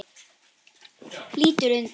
Lítur undan.